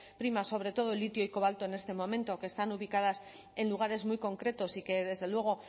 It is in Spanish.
primas sobre todo el litio y el cobalto en este momento que están ubicadas en lugares muy concretos y que desde luego